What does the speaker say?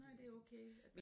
Nej det er okay